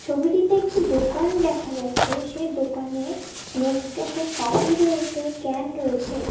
ছবিটিতে একটি দোকান দেখা যাচ্ছে সে দোকানে নেসক্যাফে কফি রয়েছে ক্যান রয়েছে।